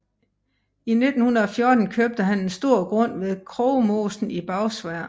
I 1914 købte han en stor grund ved Krogmosen i Bagsværd